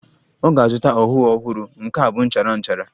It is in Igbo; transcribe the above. Ọ ga-azụta ọhụụ ọhụrụ, nke a bụ nchara nchara